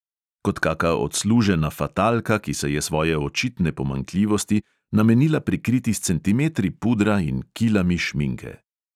Kot kaka odslužena fatalka, ki se je svoje očitne pomanjkljivosti namenila prikriti s centimetri pudra in kilami šminke.